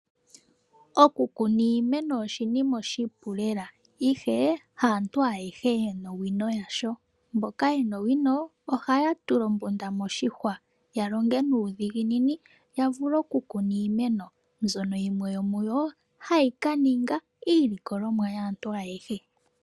Oku kuna iimeno oshinima oshipu lela ihe ha aantu ayehe yena owino yasho mboka yena owino ohaya tula ombunda moshihwa ya longe nuudhiginini yavule oku kuna iimeno mbyono yimwe yomuyo hayi kaninga iilikolomwa yaantu ayehe.